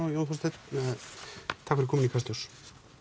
og Jón Þorsteinn takk fyrir komuna í Kastljós